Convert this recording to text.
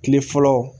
Kile fɔlɔ